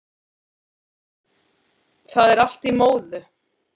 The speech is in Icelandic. Það er allt í móðu